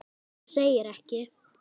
Þú segir ekki!?!